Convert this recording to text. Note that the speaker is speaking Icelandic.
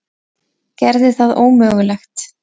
Gerði það ómögulegt.